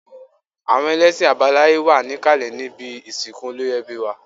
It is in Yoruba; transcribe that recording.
Àwọn ẹlẹ́ṣin àbáláye wà ní ìkàlẹ̀ níbi ìsìnkú olórí ẹbí wá